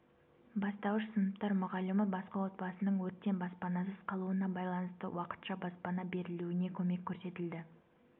бастауыш сыныптар мұғалімі басқа отбасының өрттен баспанасыз қалуына байланысты уақытша баспана берілуіне көмек көрсетілді